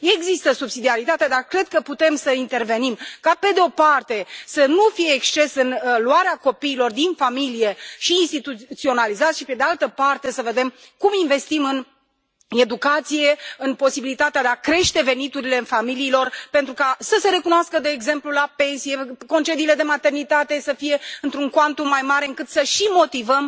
Există subsidiaritatea, dar cred că putem să intervenim ca, pe de o parte, să nu fie excese în luarea copiilor din familie și instituționalizarea lor și, pe de altă parte, să vedem cum investim în educație, în posibilitatea de a crește veniturile familiilor, pentru ca să se recunoască, de exemplu, la pensie, concediile de maternitate să fie într un cuantum mai mare, încât să și motivăm,